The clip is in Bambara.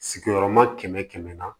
Sigiyɔrɔma kɛmɛ kɛmɛ